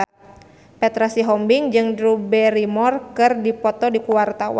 Petra Sihombing jeung Drew Barrymore keur dipoto ku wartawan